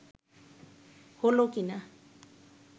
হলো কিনা